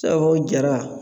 Sabu o jara